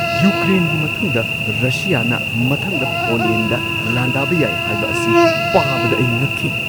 ꯌꯨꯀ꯭ꯔꯦꯟꯒꯤ ꯃꯇꯨꯡꯗ ꯔꯁꯤꯌꯥꯅ ꯃꯊꯪꯗ ꯄꯣꯂꯦꯟꯗ ꯂꯥꯟꯗꯥꯕ ꯌꯥꯏ ꯍꯥꯏꯕ ꯑꯁꯤ ꯄꯥꯕꯗ ꯑꯩ ꯉꯛꯈꯤ ꯫